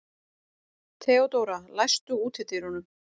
Theodóra, læstu útidyrunum.